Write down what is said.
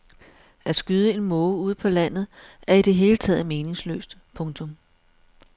At skyde en måge ude på landet er i det hele taget meningsløst. punktum